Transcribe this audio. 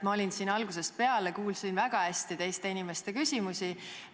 Ma olen siin algusest peale ja kuulsin väga hästi teiste inimeste küsimusi.